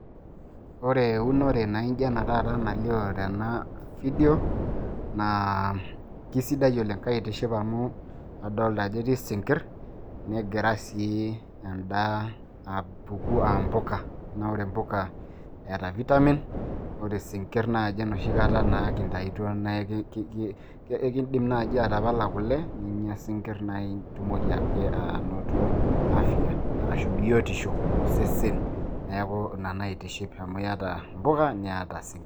ore eunore naaijo ena taata nalioo tena fidio naa, aisidai oleng. kaitiship amu, adolta ajo etii isinkir, negira sii edaa apuku aa mpuka, naa ore mpuka eeta vitamin, ore sinkir naaji enoshi kata naa kintaituo naa ekidim naaji atapala kule, ninyia isinkir, nitumoki ake anoto afia. arashu biotisho tosesen. neeku ina naaitiship amu iyata impuka niata isinkir.